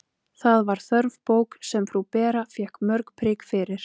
Það var þörf bók, sem frú Bera fékk mörg prik fyrir.